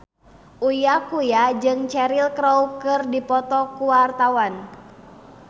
Uya Kuya jeung Cheryl Crow keur dipoto ku wartawan